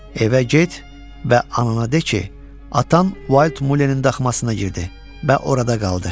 Evə get və ana deyə ki, atan Wild Mulenin daxmasına girdi və orada qaldı.